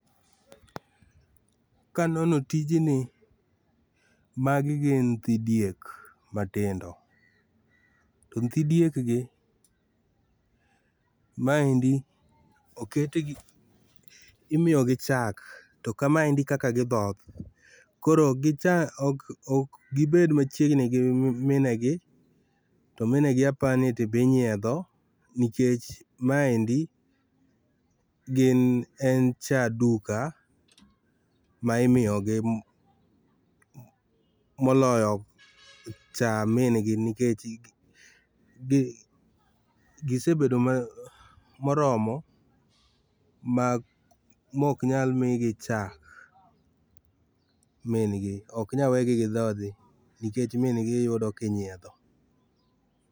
Kanono tijni, magi gin nyithi diek matindo. To nyithi diekgi maendi oketgi imiyo gi chak to kama endi e kaka gidhok . Koro ok gibed machiegni giminegi minegi to minegi apani to be inyiedho nikech maendi gin en cha duka ma imiyogi moloyo cha mingi nikech gisebedo moromo ma mok nyal migi chak min'gi ok nya wegi gi dhodhi nikech min'gi iyudo kinyiedho.